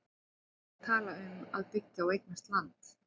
En hvað ertu að tala um að byggja og eignast land?